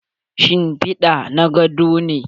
Shimpida na godo ne.